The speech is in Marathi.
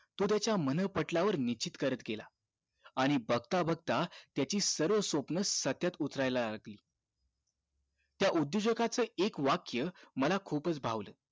तो त्याच्या मन पटलावर निश्चित करत गेला आणि बघता बघता त्याची सर्व स्वप्न सत्यात उतरला लागली त्या उद्योजकाच एक वाक्य मला खूपच भावलं